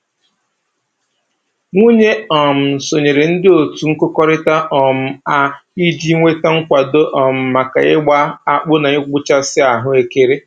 Nwunye um sonyere ndị otu nkụkọrịta um a iji nweta nkwado um maka ịgba akpụ na ịgbụchasị ahụekere